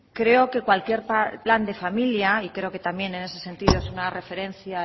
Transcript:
creo que cualquier plan de familia y creo que también en ese sentido es una referencia